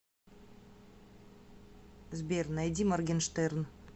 сбер найди моргенштерн